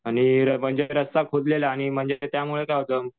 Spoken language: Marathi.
आई रास्ता खोदलेला आणि त्यामुळे काय होतं